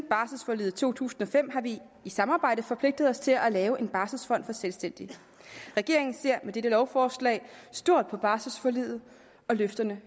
barselsforliget to tusind og fem har vi i samarbejde forpligtet os til at lave en barselsfond for selvstændige regeringen ser med dette lovforslag stort på barselsforliget og løfterne